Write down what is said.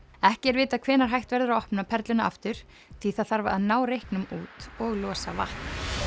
ekki er vitað hvenær hægt verður að opna Perluna aftur því að það þarf að ná reyknum út og losa vatn